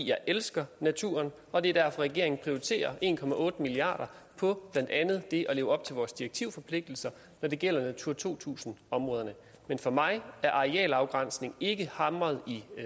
jeg elsker naturen og det er derfor at regeringen prioriterer en milliard kroner på blandt andet at leve op til vores direktivforpligtelser når det gælder natura to tusind områderne men for mig er arealafgrænsning ikke hamret i